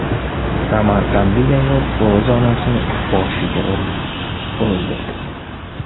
Samarqandlik ayol o‘z onasini boshiga urib o‘ldirdi.